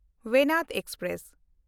ᱵᱮᱱᱟᱰ express